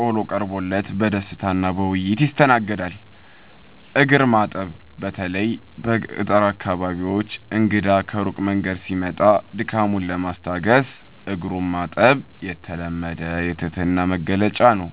ቆሎ ቀርቦ በደስታና በውይይት ይስተናገዳል። እግር ማጠብ፦ በተለይ በገጠር አካባቢዎች እንግዳ ከሩቅ መንገድ ሲመጣ ድካሙን ለማስታገስ እግሩን ማጠብ የተለመደ የትህትና መግለጫ ነው።